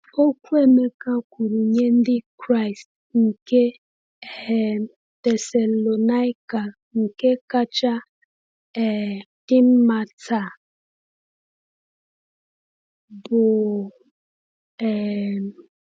Okwu Emeka kwuru nye Ndị Kraịst nke um Thessalonika nke kacha um dị mma taa bụ? um